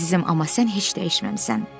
Əzizim, amma sən heç dəyişməmisən.